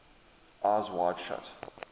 eyes wide shut